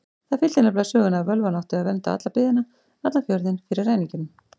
Það fylgdi nefnilega sögunni að völvan átti að vernda alla byggðina, allan fjörðinn, fyrir ræningjum.